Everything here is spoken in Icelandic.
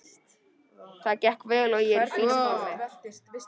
Það gekk vel og ég er í fínu formi.